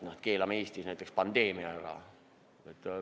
Keelame Eestis näiteks pandeemia ära?